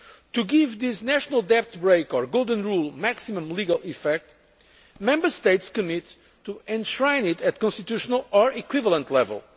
GDP. To give this national debt brake or golden rule' maximum legal effect, Member States commit to enshrining it at constitutional or equivalent